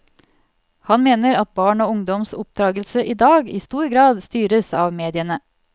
Han mener at barn og ungdoms oppdragelse i dag i stor grad styres av mediene.